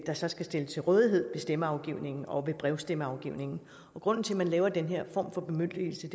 der så skal stilles til rådighed ved stemmeafgivningen og ved brevstemmeafgivningen grunden til at man laver den her form for bemyndigelse